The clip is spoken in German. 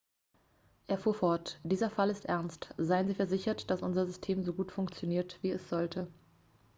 er fuhr fort dieser fall ist ernst seien sie versichert dass unser system so gut funktioniert wie es sollte